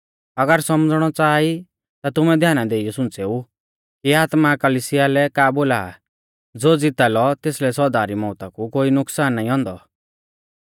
अगर सौमझ़णौ च़ाहा ई ता तुमै ध्याना देइयौ सुंच़ेऊ कि आत्मा कलिसियाऊ लै का बोला आ ज़ो ज़िता लौ तेसलै सौदा री मौउता कु कोई नुकसान नाईं औन्दौ